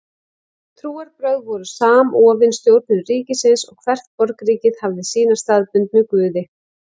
Trúarbrögð voru samofin stjórnun ríkisins og hvert borgríki hafði sína staðbundnu guði.